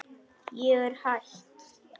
Ég er hætt.